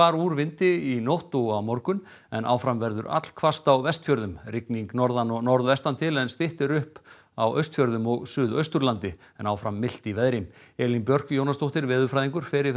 úr vindi í nótt og á morgun en áfram verður allhvasst á Vestfjörðum rigning norðan og norðvestan til en styttir upp á Austfjörðum og Suðausturlandi en áfram milt í veðri Elín Björk Jónasdóttir veðurfræðingur fer yfir